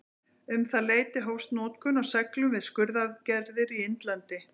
Um það leyti hófst notkun á seglum við skurðaðgerðir í Indlandi.